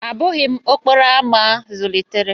Abụghị m okporo ámá zụlitere